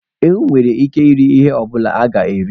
Ewu nwere ike iri ihe ọ bụla a ga-eri.